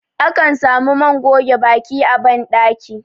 akan Sami man goge Baki a bandaki